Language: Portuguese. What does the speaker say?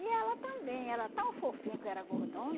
E ela também, era tão fofinha que eu era gordona.